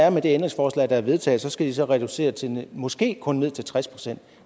og med det ændringsforslag der er vedtaget skal de så reducere til måske kun tres procent